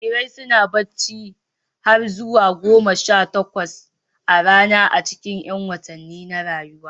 Jarirai suna barci har zuwa sa'o'i goma sha takwas a rana a cikin 'yan watannin farko na rayuwa.